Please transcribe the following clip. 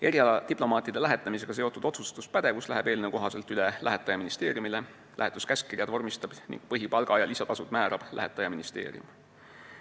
Erialadiplomaatide lähetamisega seotud otsustuspädevus läheb eelnõu kohaselt üle lähetaja ministeeriumile, lähetuskäskkirjad vormistab ning põhipalga ja lisatasud määrab lähetaja ministeerium.